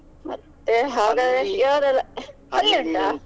ಮತ್ತೆ ಹಾಗದ್ರೆ ಯಾವದೆಲ್ಲಾ ಉಂಟಾ?